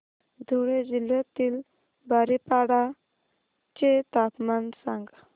धुळे जिल्ह्यातील बारीपाडा चे तापमान सांग